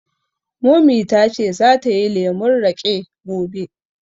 Mummy ta ce za ta yi lemun raƙe gobe